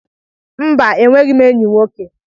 Mba, e nweghị m eyi nwoke.